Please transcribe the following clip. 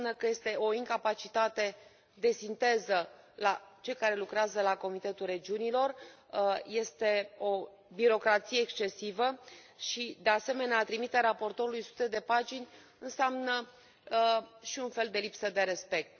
Înseamnă că este o incapacitate de sinteză la cei care lucrează la Comitetul Regiunilor, este o birocrație excesivă și, de asemenea, a trimite raportorului sute de pagini înseamnă și un fel de lipsă de respect.